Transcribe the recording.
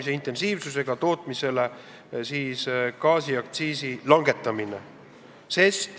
Seda on teinud ka mitmed teised Euroopa Liidu liikmesriigid.